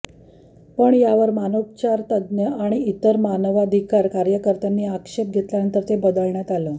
पण यावर मानसोपचार तज्ज्ञ आणि इतर मानवाधिकार कार्यकर्त्यांनी आक्षेप घेतल्यानंतर ते बदण्यात आलं